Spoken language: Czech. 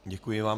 Děkuji vám.